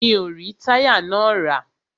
Mi o rí táyà náà rà.